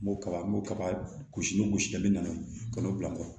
N b'o kaba n b'o kaba gosi ni gosili ye min nana ka n'o bila n kun